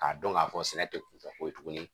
K'a dɔn k'a fɔ sɛnɛ tɛ kunfɛ ko ye tuguni